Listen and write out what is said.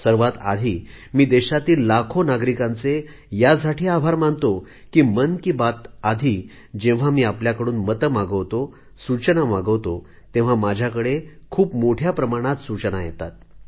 सर्वात आधी मी देशातील लाखो नागरिकांचे यासाठी आभार मानतो की मन की बात आधी जेव्हा मी आपल्याकडून मते मागवतो सूचना मागवतो तेव्हा माझ्याकडे मोठ्या प्रमाणात सूचना येतात